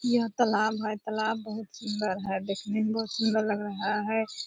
यह तालाब है तालाब बहुत सुंदर है दिखने में बहुत सुंदर लग रहा है।